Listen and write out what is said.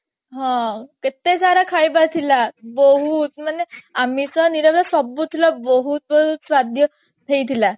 ହଁ କେତେ ସାରା ଖାଇବା ଥିଲା ବହୁତ ମାନେ ଆମିଷ ନିରାମିଷ ସବୁ ଥିଲା ବହୁତ ବହୁତ ସ୍ଵାଦ୍ୟ ହେଇଥିଲା